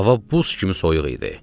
Hava buz kimi soyuq idi.